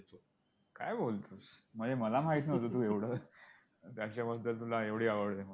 काय बोलतोस म्हणजे मला माहित नव्हतं तू एवढं बद्दल तुला एवढी आवड आहे.